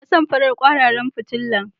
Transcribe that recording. Ina son farin kwararan fitila